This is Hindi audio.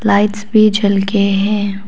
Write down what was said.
लाइट्स भी जल के हैं।